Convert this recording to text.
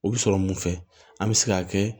O bɛ sɔrɔ mun fɛ an bɛ se k'a kɛ